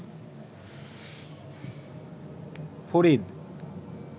Farid